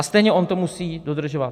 A stejně on to musí dodržovat.